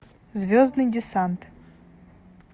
звездный десант